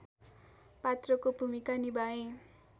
पात्रको भूमिका निभाए